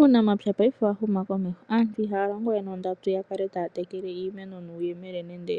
Uunamapya paife owa huma komeho, aantu ihaya longo we nondatu ya kale taya tekele iimeno nuuyemele nenge